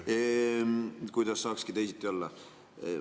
Kuidas saakski teisiti olla?